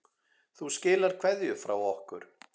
Þú skilar kveðju frá okkur.